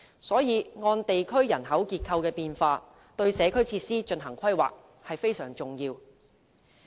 因此，按地區人口結構的變化，對社區設施進行規劃是非常重要的。